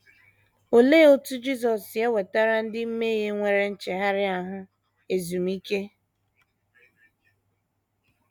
Olee otú Jisọs si ewetara ndị mmehie nwere nchegharị ahụ ezumike?